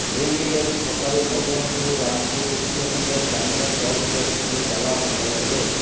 ଏନେଇ ଆଜି ସକାଳୁ ମଦନପୁର ରାମପୁର ଓକିଲ ସଂଘ ସ୍ଥାନୀୟ ତହସିଲ ଅଫିସରେ ତାଲା ପକାଇଥିଲେ